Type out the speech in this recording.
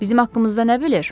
Bizim haqqımızda nə bilir?